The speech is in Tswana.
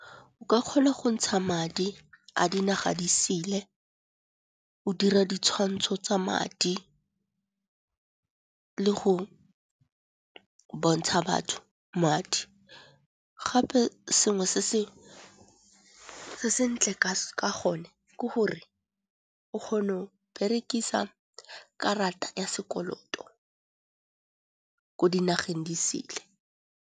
O ka kgona go ntsha madi a dinaga disele, o dira ditshwantsho tsa madi le go bontsha batho madi. Gape sengwe se sentle ka gone ke gore o kgona go berekisa karata ya sekoloto ko dinageng di sele.